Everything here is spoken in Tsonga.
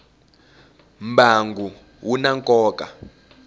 mbangu wu na nkoka